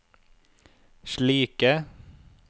slike